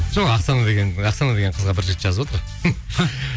жоқ оксана деген қызға бір жігіт жазып отыр